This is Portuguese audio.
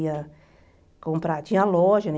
Ia comprar... Tinha loja, né?